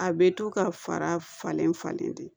A bɛ to ka fara falen falen tɛ